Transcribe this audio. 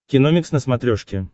киномикс на смотрешке